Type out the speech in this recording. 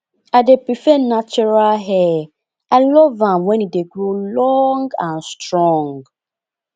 i dey prefer natural hair i love am when e dey grow long and strong